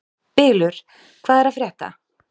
Bylur, hvað er að frétta?